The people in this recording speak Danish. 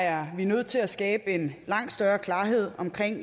er nødt til at skabe en langt større klarhed om